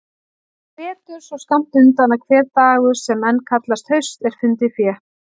Vetur svo skammt undan að hver dagur sem enn kallast haust er fundið fé.